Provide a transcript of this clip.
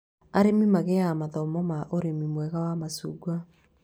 Arĩmi magĩaga mathomo ma ũrĩmi mwega wa macungwa